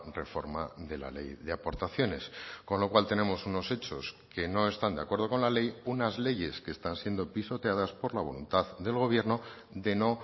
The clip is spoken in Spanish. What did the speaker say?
reforma de la ley de aportaciones con lo cual tenemos unos hechos que no están de acuerdo con la ley unas leyes que están siendo pisoteadas por la voluntad del gobierno de no